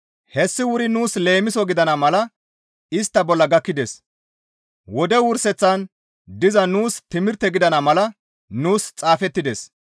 Hessi wuri nuus leemiso gidana mala istta bolla gakkides; wode wurseththan diza nuus timirte gidana mala nuus xaafettides.